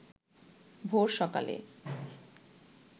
ভোর সকালে